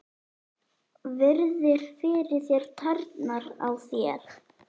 Virðir fyrir þér tærnar á þér.